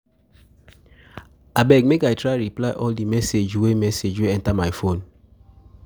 Abeg, make I try reply all di message wey message enta my phone.